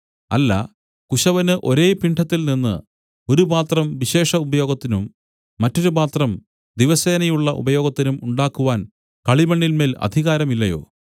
അല്ല കുശവന് ഒരേ പിണ്ഡത്തിൽനിന്ന് ഒരു പാത്രം വിശേഷ ഉപയോഗത്തിനും മറ്റൊരു പാത്രം ദിവസേനയുള്ള ഉപയോഗത്തിനും ഉണ്ടാക്കുവാൻ കളിമണ്ണിന്മേൽ അധികാരം ഇല്ലയോ